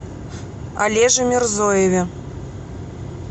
олеже мирзоеве